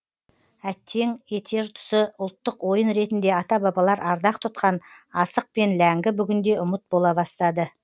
әттең етер тұсы ұлттық ойын ретінде ата бабалар ардақ тұтқан асық пен ләңгі бүгінде ұмыт бола бастады